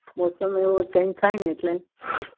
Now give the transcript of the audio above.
મોસમ એ એવો થાય ને